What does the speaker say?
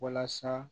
Walasa